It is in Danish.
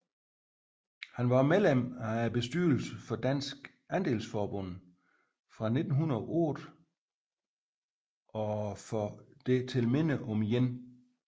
Han var også medlem af bestyrelsen for Dansk Adelsforbund fra 1908 og for Det til Minde om 1